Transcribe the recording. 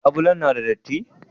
Labulen na da datti?